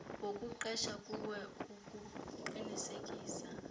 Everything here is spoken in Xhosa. wokuqesha kuwe ukuqinisekisa